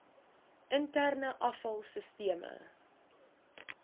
interne afval sisteme